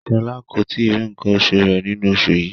Shola ko tíì ri nkán osù rẹ nínú oṣù yìí.